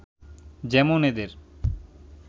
যেমন এদের